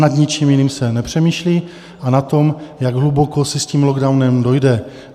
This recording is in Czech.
Nad ničím jiným se nepřemýšlí a nad tím, jak hluboko se s tím lockdownem dojde.